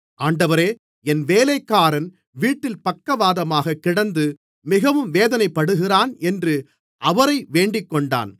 ஆண்டவரே என் வேலைக்காரன் வீட்டிலே பக்கவாதமாகக் கிடந்து மிகவும் வேதனைப்படுகிறான் என்று அவரை வேண்டிக்கொண்டான்